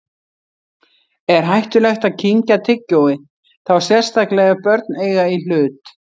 Er hættulegt að kyngja tyggjói, þá sérstaklega ef börn eiga í hlut?